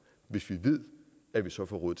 hvis vi ved at vi så får råd